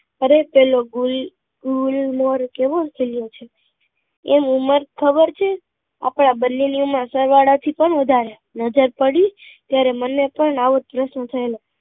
અરે પેલો ગુલ ગુમહોર કેવો ખીલ્યો છે એન ઉંમર ખબર છે આપડા બન્ને ની ઉંમર સરવાળા થી પણ વાધારે નજર પડી ત્યારે મને પણ આવો જ પ્રશ્ન થયેલો